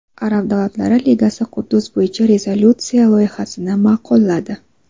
Arab davlatlari ligasi Quddus bo‘yicha rezolyutsiya loyihasini ma’qulladi.